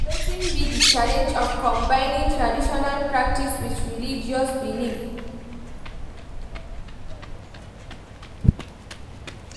Wetin be di challenge of combining traditional practices with religious beliefs?